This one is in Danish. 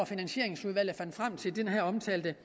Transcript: finansieringsudvalget fandt frem til den her omtalte